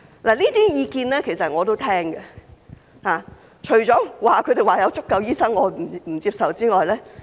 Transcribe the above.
其實，這些意見我都會聽取，除了他們說有足夠醫生這一點我不接受之外。